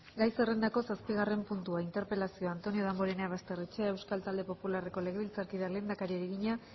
gai zerrendako zazpigarren puntua interpelazioa antonio damborenea basterrechea euskal talde popularreko legebiltzarkideak lehendakariari egina